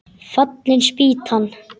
Fallin spýtan!